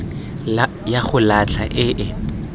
ya go latlha e e